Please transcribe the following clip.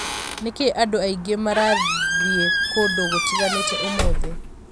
Nĩkĩ andũ aingĩ marathiĩ kũndũ gũtiganĩte ũmũthĩ